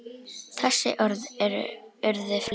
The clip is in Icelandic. Þessi orð urðu fleyg.